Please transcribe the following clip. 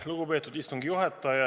Lugupeetud istungi juhataja!